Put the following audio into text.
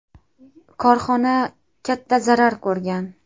Korxona katta zarar ko‘rgan.